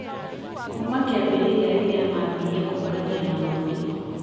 kuuma kiambĩrĩria rĩrĩa mambirie kũngania marũũri .